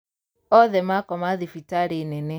Othe makoma thibitarī nene